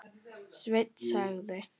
Sveinn sagði.